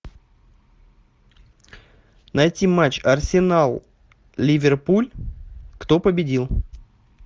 найти матч арсенал ливерпуль кто победил